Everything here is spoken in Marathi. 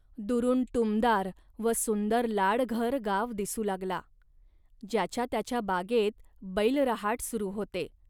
दुरून टुमदार व सुंदर लाडघर गाव दिसू लागला. ज्याच्या त्याच्या बागेत बैलरहाट सुरू होते